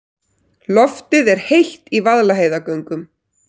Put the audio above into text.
Loftið er heitt í Vaðlaheiðargöngum.